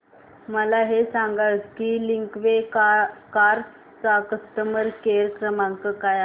मला हे सांग की लिंकवे कार्स चा कस्टमर केअर क्रमांक काय आहे